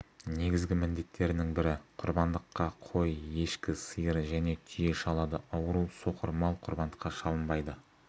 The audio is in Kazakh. негізгі міндеттерінің бірі құрбандыққа қой ешкі сиыр және түйе шалады ауру соқыр мал құрбандыққа шалынбайды